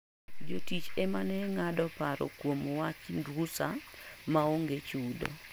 Jotich ema ne ng'ado paro kuom wach rusa maonge chudo.